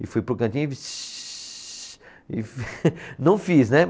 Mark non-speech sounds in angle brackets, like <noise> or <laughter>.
E fui para o cantinho e xiii e, <laughs> não fiz, né?